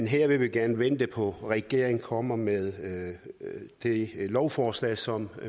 her vil vi gerne vente på at regeringen kommer med det lovforslag som